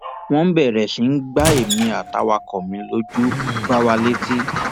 wọn bẹrẹ sí í gba èmi àtàwàkọ mi lójú gbá wa létí